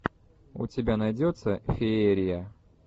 у тебя найдется феерия